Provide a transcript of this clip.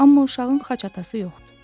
Amma uşağın xaç atası yoxdur.